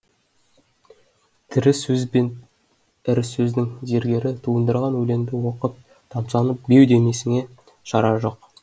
тірі сөз бен ірі сөздің зергері туындырған өлеңді оқып тамсанып беу демесіңе шара жоқ